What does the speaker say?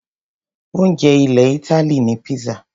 Oúnjẹ ilẹ̀ Ítálì ni pizza.